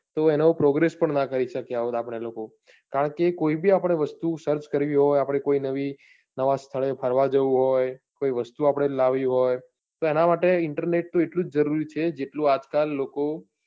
તો એનો progress પણ નાં કરી શક્યા હોત આપને લોકો કારણ કે કોઈ બી આપણે વસ્તુ search કરવી હોય, આપણે કોઈ નવી નવા સ્થળે ફરવા જવું હોય, કોઈ વસ્તુ આપણે લાવવી હોય તો એના માટે internet તો એટલું જ જરૂરી છે જેટલું આજકાલ લોકો